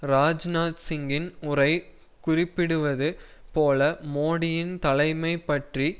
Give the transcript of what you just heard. ராஜ்நாத் சிங்கின் உரை குறிப்பிடுவது போல மோடியின் தலைமை பற்றி